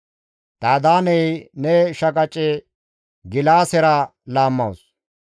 «Dadaaney ne shaqace gilaasera laammawus.